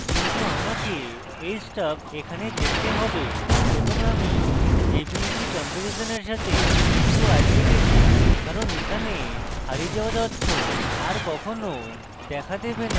কিন্তু আমাকে এই stuff এখানে দেখতে হবে এবং আমি jpeg কম্পেরিশনের সাথে একটু আটকে গেছি কারণ এখানে হারিয়ে যাওয়া তথ্য are কখনো দেখা দেবে না